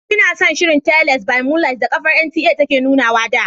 Inason shirin"Teles by moonlight" da kafar NTA take nunawa da.